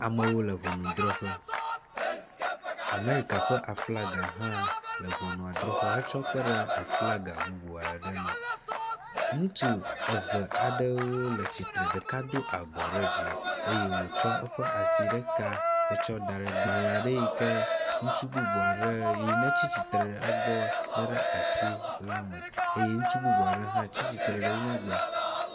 Amewo le ŋɔnudrɔƒe. amerika ƒe aflaga hã le ŋɔnuadrɔƒe hetsɔ kpe ɖe aflaga bubu aɖe nu. Ŋutsu eve aɖewo le tsitre ɖeka do abɔ ɖe dzi eye wotsɔ eƒe asi ɖeka etsɔ da ɖe gbale aɖe yi ke ŋutsu bubu aɖe yi netsi tsitre egbɔ le ɖe asi la me eye ŋutsu bubu aɖe hã tsitre wo megbe.